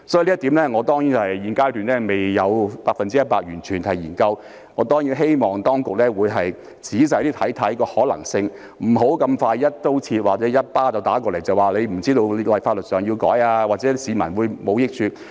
所以，對於這一點，我現階段未有進行 100% 的研究，但我當然希望當局會仔細審視當中的可能性，不要這麼快便一刀切，或者送我一巴掌，說我不知道法律上會作出修訂，甚或對市民沒有益處。